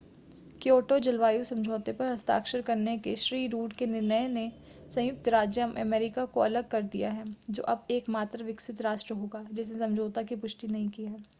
Kyoto जलवायु समझौते पर हस्ताक्षर करने के श्री रुड के निर्णय ने संयुक्त राज्य अमेरिका को अलग कर दिया है जो अब एकमात्र विकसित राष्ट्र होगा जिसने समझौते की पुष्टि नहीं की है